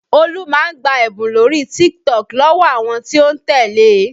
Olú máa ń gba ẹ̀bùn lórí TikTok lọ́wọ́ àwọn tí ó ń tẹ́lẹ̀ e